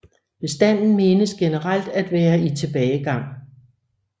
Bestanden menes generelt at være i tilbagegang